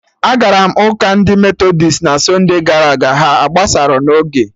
Agara m ụka ndị Metọdist na sunde gara aga, ha agbasarọ n'oge